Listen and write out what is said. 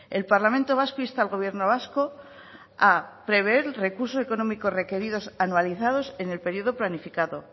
el parlamento vasco insta al gobierno vasco a prever el recurso económico requerido anualizados en el periodo planificado